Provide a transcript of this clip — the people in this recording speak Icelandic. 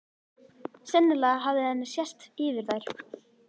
Sennilega hafði henni sést yfir þær.